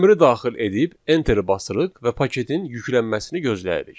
Əmri daxil edib enteri basırıq və paketin yüklənməsini gözləyirik.